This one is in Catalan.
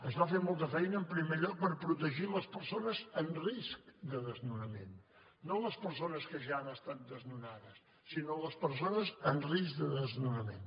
es va fer molta feina en primer lloc per protegir les persones en risc de desnonament no les persones que ja han estat desnonades sinó les persones en risc de desnonament